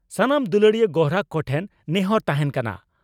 ᱥᱟᱱᱟᱢ ᱫᱩᱞᱟᱹᱲᱤᱭᱟᱹ ᱜᱚᱨᱦᱟᱠ ᱠᱚᱴᱷᱮᱱ ᱱᱮᱦᱚᱨ ᱛᱟᱦᱮᱸᱱ ᱠᱟᱱᱟ